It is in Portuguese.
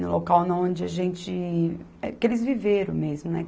No local onde a gente... que eles viveram mesmo, né?